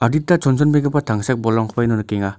chonchonbegipa tangsek bolrangkoba ino nikenga.